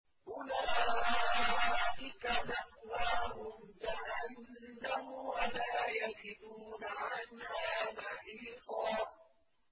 أُولَٰئِكَ مَأْوَاهُمْ جَهَنَّمُ وَلَا يَجِدُونَ عَنْهَا مَحِيصًا